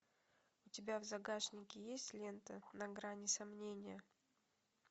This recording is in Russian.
у тебя в загашнике есть лента на грани сомнения